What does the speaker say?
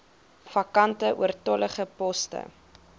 vakante oortollige poste